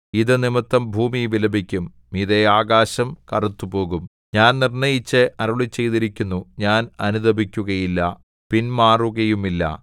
ഇതു നിമിത്തം ഭൂമി വിലപിക്കും മീതെ ആകാശം കറുത്തുപോകും ഞാൻ നിർണ്ണയിച്ച് അരുളിച്ചെയ്തിരിക്കുന്നു ഞാൻ അനുതപിക്കുകയില്ല പിൻമാറുകയുമില്ല